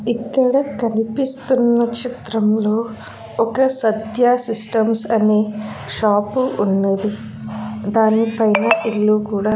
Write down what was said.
ఇక్కడ కనిపిస్తున్న చిత్రంలో ఒక సత్య సిస్టమ్స్ అనే షాపు ఉన్నది దానిపైన ఇల్లు కూడా.